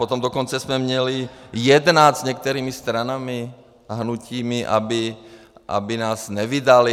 Potom dokonce jsme měli jednat s některými stranami a hnutími, aby nás nevydaly.